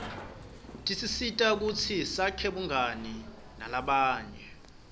tisisita kutsi sakhe bungani nalabanye